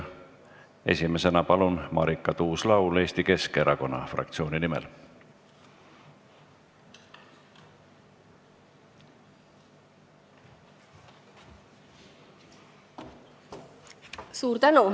Esimesena palun, Marika Tuus-Laul Eesti Keskerakonna fraktsiooni nimel!